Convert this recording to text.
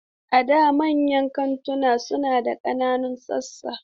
A da, manyan kantuna suna da ƙananan sassa.